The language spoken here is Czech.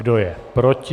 Kdo je proti?